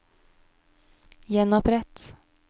gjenopprett